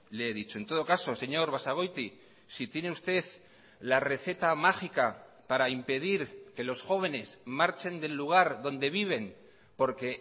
le he dicho en todo caso señor basagoiti si tiene usted la receta mágica para impedir que los jóvenes marchen del lugar donde viven porque